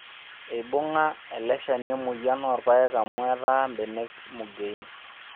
Eibunga eleshani emoyian oorpayek amu etaa mbenek mugien